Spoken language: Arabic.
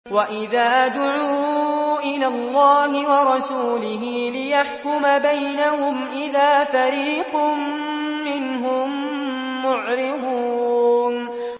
وَإِذَا دُعُوا إِلَى اللَّهِ وَرَسُولِهِ لِيَحْكُمَ بَيْنَهُمْ إِذَا فَرِيقٌ مِّنْهُم مُّعْرِضُونَ